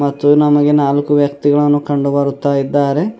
ಮತ್ತು ನಮಗೆ ನಾಲ್ಕು ವ್ಯಕ್ತಿಗಳನ್ನು ಕಂಡುಬರುತ್ತಾ ಇದ್ದಾರೆ.